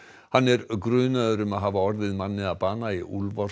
hann er grunaður um að hafa orðið manni að bana í